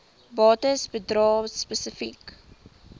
bates bedrae spesifiek